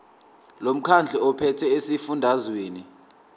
lomkhandlu ophethe esifundazweni